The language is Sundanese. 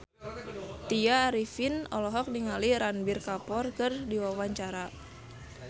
Tya Arifin olohok ningali Ranbir Kapoor keur diwawancara